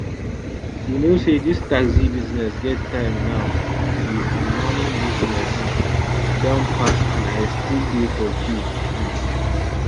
you know say dis taxi business get time now di um morning business don pass and i still dey for queue um